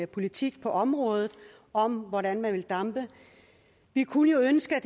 politik på området om hvordan man vil dampe vi kunne ønske at